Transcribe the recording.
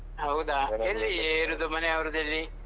ಹೌದಾ ಎಲ್ಲಿ ಇರುವುದು ಮನೆ ಅವರದೆಲ್ಲಿ?